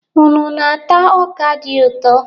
Unu na-ata ọ́kà di ụtọ?